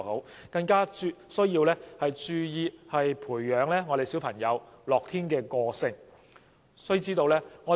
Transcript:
此外，家長必須注意培養小朋友樂天的個性。